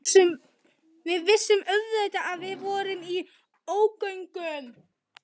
Við vissum auðvitað að við vorum í ógöngum.